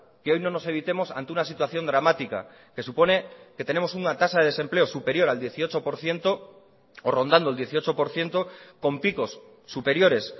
que hoy no nos evitemos ante una situación dramática que supone que tenemos una tasa de desempleo superior al dieciocho por ciento o rondando el dieciocho por ciento con picos superiores